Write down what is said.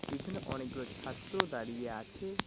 পিছনে অনেকগুলো ছাত্র দাঁড়িয়ে আছে।